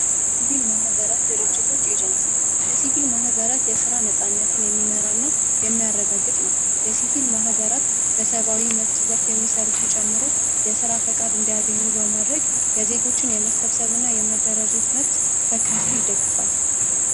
የሲቪል ማህበራት ኤጀንሲ የሲቪል ማህበራት የስራ ነፃነትን የሚመራ የሚያረጋግጥ ነው በመብት ዘርፍ የሚሰሩትን ጨምሮ ፈቃድ እንዲያገኙ በማድረግ የዜጎችን የመሰብሰብና የመደራጀት መብት በከፍል ይደግፋል።